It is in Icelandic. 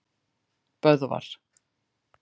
Böðvar